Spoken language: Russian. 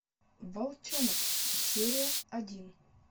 волчонок серия один